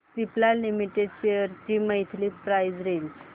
Cipla limited shares ची monthly price range